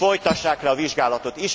Folytassák le a vizsgálatot.